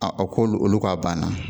A k'olu olu k'a banna